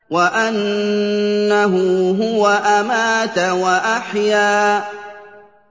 وَأَنَّهُ هُوَ أَمَاتَ وَأَحْيَا